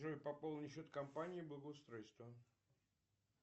джой пополни счет компании благоустройства